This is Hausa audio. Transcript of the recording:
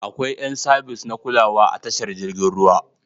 Akwai yan sabis na kulawa a tashar jirgin ruwa.